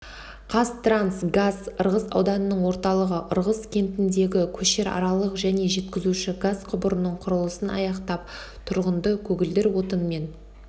қазтрансгаз ырғыз ауданының орталығы ырғыз кентіндегі көшеаралық және жеткізуші газ құбырының құрылысын аяқтап тұрғынды көгілдір отынмен